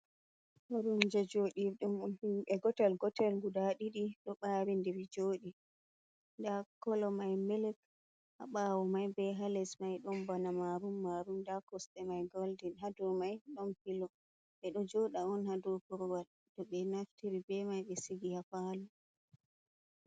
Koromje joɗirɗum ɗum himɓe gotel-gotel guda ɗiɗi ɗo ɓarindiri joɗi. Nda kolo mai milik ha ɓawo mai, be ha les mai ɗon bana marun-marun. Nda koste mai golden ha dou mai ɗon filo. Ɓeɗo joɗa on ha dou korwal to ɓe naftiri be mai ɓe sigi ha falo.